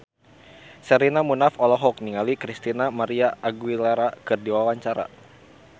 Sherina Munaf olohok ningali Christina María Aguilera keur diwawancara